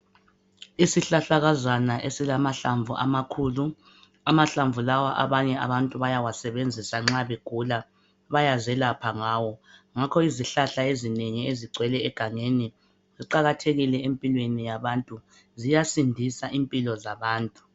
Isihlahlakazana esilamahlamvu amakhulu, amahlamvu lawa abanye abantu bayawasebenzisa nxa begula, bayazelapha ngawo. Ngakho izihlahla ezinengi ezigcwele egangeni ziqakathekile empilweni yabantu, ziyasindisa impilo zabantu.